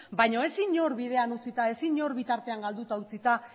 baina ez inor bidean utzita ez inor bitartean galduta utzita